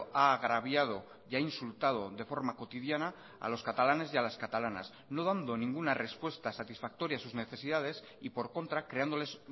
ha agraviado y ha insultado de forma cotidiana a los catalanes y a las catalanas no dando ninguna respuesta satisfactoria a sus necesidades y por contra creándoles